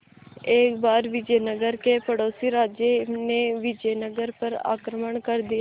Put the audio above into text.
एक बार विजयनगर के पड़ोसी राज्य ने विजयनगर पर आक्रमण कर दिया